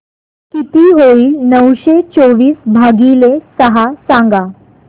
किती होईल नऊशे चोवीस भागीले सहा सांगा